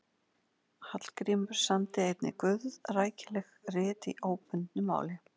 Hallgrímur samdi einnig guðrækileg rit í óbundnu máli.